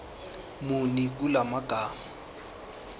muni kula magama